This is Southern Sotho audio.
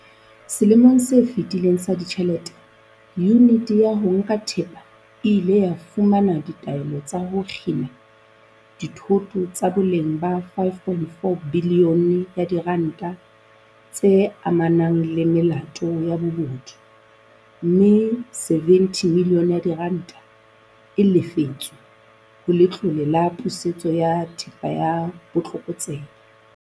Selemong se fetileng sa ditjhelete, Yuniti ya ho Nka Thepa e ile ya fumana ditaelo tsa ho kgina dithoto tsa boleng ba R5.4 bilione tse amanang le melato ya bobodu, mme R70 milione e lefetswe ho Letlole la Pusetso ya Thepa ya Botlokotsebe.